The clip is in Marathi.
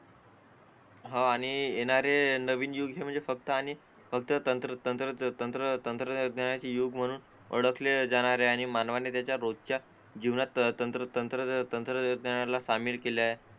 हा आणि येणारे नवीन युग म्हणजे फक्त आणि फक्त तंत्र तंत्र तंत्रज्ञानाचे युग म्हणून ओळखले जाणार आहे मानवाने त्याच्या रोजच्या जीवनात तंत्र तंत्र तंत्रज्ञानाला सामील केले आहे